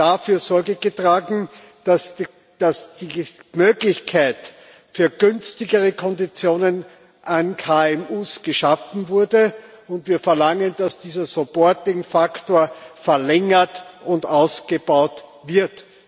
dafür Sorge getragen, dass die Möglichkeit für günstigere Konditionen an KMU geschaffen wurde, und wir verlangen, dass dieser supporting faktor verlängert und ausgebaut wird.